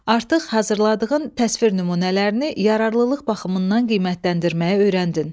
Artıq hazırladığın təsvir nümunələrini yararlılıq baxımından qiymətləndirməyi öyrəndin.